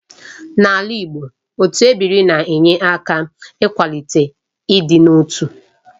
N'ala Igbo, otu ebiri na-enye aka n'ịkwalite ịdị n'otu